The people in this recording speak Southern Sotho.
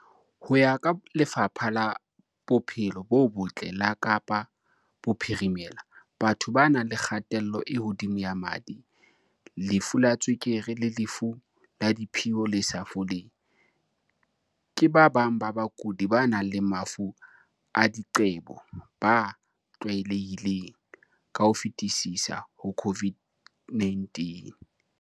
Ho ya ka Lefapha la Bophelo bo Botle la Kapa Bophirime-la, batho ba nang le kgatello e hodimo ya madi, lefu la tswe-kere le lefu la diphio le sa foleng, ke ba bang ba bakudi ba nang le mafu a diqebo ba tlwaelehileng ka ho fetisisa ho COVID-19.